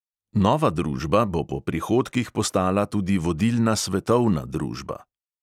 Nova družba bo po prihodkih postala tudi vodilna svetovna družba.